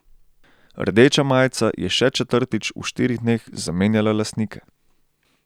Rdeča majica je še četrtič v štirih dneh zamenjala lastnika.